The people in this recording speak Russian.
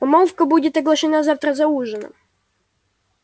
помолвка будет оглашена завтра за ужином